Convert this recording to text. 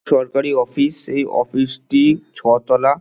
সরকারি অফিস এই অফিস -টি ছ তলা।